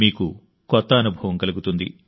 మీకు కొత్త అనుభవం కలుగుతుంది